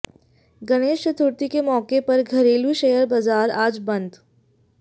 गणेश चतुर्थी के मौके पर घरेलू शेयर बाजार आज बंद